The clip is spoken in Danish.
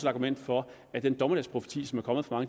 argument for at den dommedagsprofeti som er kommet fra